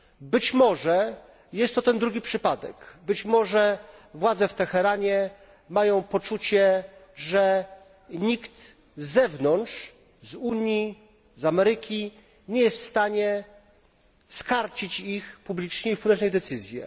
Być może jest to ten drugi przypadek, być może władze w Teheranie mają poczucie, że nikt z zewnątrz z Unii, z Ameryki nie jest w stanie skarcić ich publicznie i wpłynąć na ich decyzje.